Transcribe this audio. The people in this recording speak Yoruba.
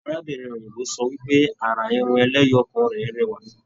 Arábìnrin òyìnbó sọ wípé àrà Irun ẹlẹ́yọọkan rẹ rẹwa.